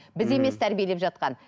ммм біз емес тәрбиелеп жатқан